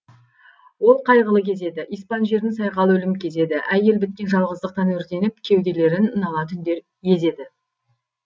ол қайғылы кез еді испан жерін сайқал өлім кезеді әйел біткен жалғыздықтан өртеніп кеуделерін нала түндер езеді